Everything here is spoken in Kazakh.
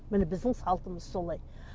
міне біздің салтымыз солай